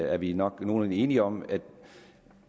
er vi nok nogenlunde enige om at